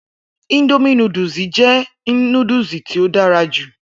Indomie núdúsì jẹ́ núdúsì tó dára jù.